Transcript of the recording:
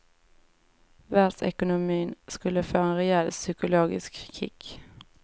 Världsekonomin skulle få en rejäl psykologisk kick.